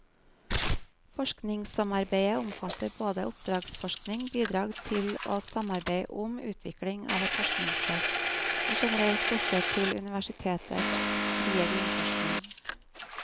Forskningssamarbeidet omfatter både oppdragsforskning, bidrag til og samarbeid om utvikling av et forskningsfelt, og generell støtte til universitetets frie grunnforskning.